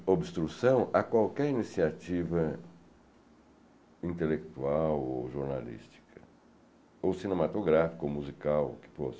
obstrução a qualquer iniciativa intelectual ou jornalística, ou cinematográfica ou musical que fosse.